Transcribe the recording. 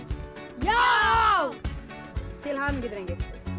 já til hamingju drengir